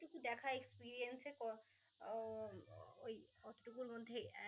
এই টুকু দেখা exerience এ ক~ উহ ওই টুকুর মধ্যেই আহ